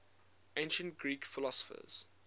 ancient greek philosophers